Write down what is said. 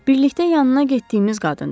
Birlikdə yanına getdiyimiz qadındır.